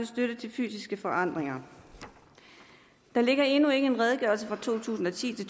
støtte til fysiske forandringer der ligger endnu ikke en redegørelse for to tusind og ti